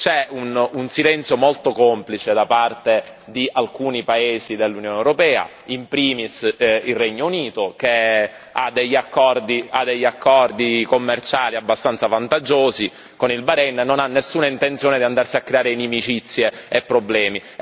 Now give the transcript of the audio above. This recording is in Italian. C'è un silenzio molto complice da parte di alcuni Paesi dell'Unione europea, in primis il Regno Unito, che ha degli accordi commerciali abbastanza vantaggiosi con il Bahrein e non ha nessuna intenzione di andarsi a creare inimicizie e problemi.